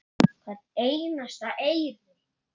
Hvern einasta eyri.